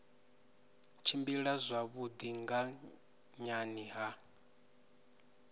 tshimbila zwavhui nga nhani ha